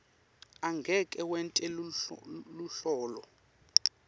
angeke wente luhlolo